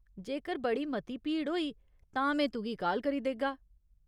जेकर बड़ी मती भीड़ होई, तां में तुगी काल करी देगा।